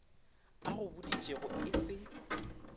a go boditšego e se